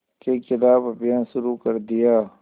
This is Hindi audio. के ख़िलाफ़ अभियान शुरू कर दिया